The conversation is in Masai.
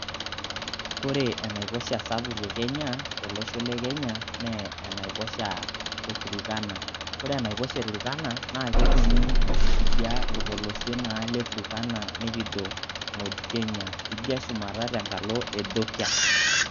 Kore enaiposha sapuk te Kenya, tolosho le Kenya, naa enaiposha e Turkana. Kore enaiposha e Turkana naa ketumi tidia, tolpolosie naa le Turkana nikijo North Kenya, teidia shumata tenkalo Ethiopia.